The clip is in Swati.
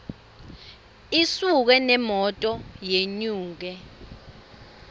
isuke nemoto yenyuke